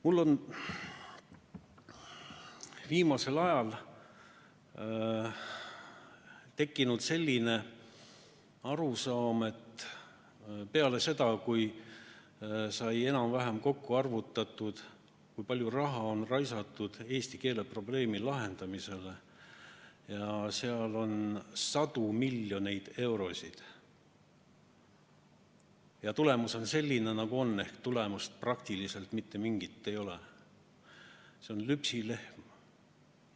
Mul on viimasel ajal tekkinud selline arusaam, peale seda, kui sai enam-vähem kokku arvutatud, kui palju raha on raisatud eesti keele probleemi lahendamisele, seda on sadu miljoneid eurosid, ja tulemus on selline, nagu ta on, ehk mingit tulemust praktiliselt ei olegi, et on lüpsilehm.